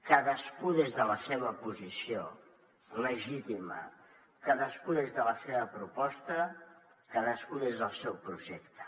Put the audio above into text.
cadascú des de la seva posició legítima cadascú des de la seva proposta cadascú des del seu projecte